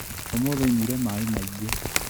ũmũthĩ nyuire mai maingĩ.